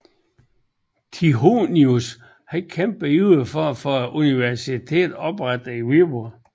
Tychonius kæmpede ivrig for at få et universitet oprettet i Viborg